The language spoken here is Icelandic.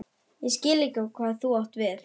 Ég skil ekki hvað þú átt við?